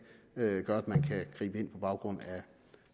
gør at man kan gribe ind på baggrund